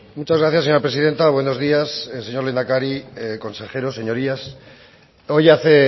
muchas gracias señora presidenta buenos días señor lehendakari consejeros señorías hoy hace